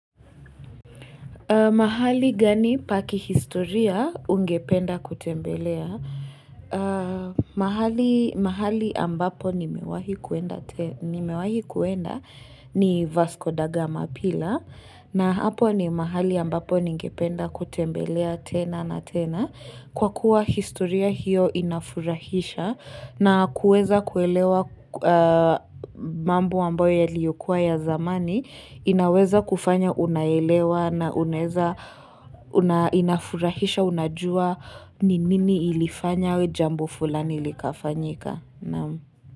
Mahali gani pa kihistoria ungependa kutembelea? Mahali ambapo nimewahi kuenda tena nimewahi kuenda ni Vasco Da gama Pillar. Na hapo ni mahali ambapo ningependa kutembelea tena na tena. Kwa kuwa historia hiyo inafurahisha na kuweza kuelewa mambo ambayo yaliyokuwa ya zamani inaweza kufanya unaelewa na unaeza inafurahisha unajua ni nini ilifanya jambo fulani likafanyika.